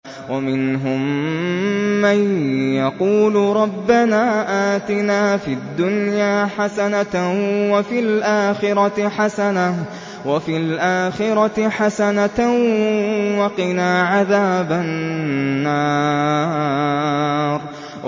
وَمِنْهُم مَّن يَقُولُ رَبَّنَا آتِنَا فِي الدُّنْيَا حَسَنَةً وَفِي الْآخِرَةِ حَسَنَةً وَقِنَا عَذَابَ النَّارِ